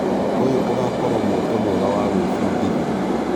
ũyũ ũgakorwo mweke mwega wa gwĩbundithia.